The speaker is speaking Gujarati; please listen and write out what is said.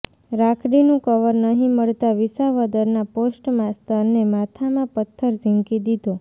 રાખડીનું કવર નહી મળતા વિસાવદરના પોસ્ટમાસ્ટરને માથામાં પત્થર ઝીકી દીધો